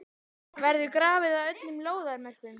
Verður grafið að öllum lóðarmörkum?